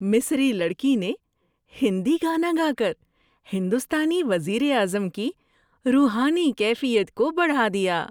مصری لڑکی نے ہندی گانا گا کر ہندوستانی وزیر اعظم کی روحانی کیفیت کو بڑھا دیا۔